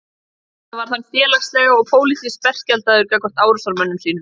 Við þetta varð hann félagslega og pólitískt berskjaldaður gagnvart árásarmönnum sínum.